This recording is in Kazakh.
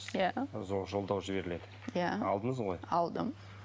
иә жолдау жіберіледі иә алдыңыз ғой алдым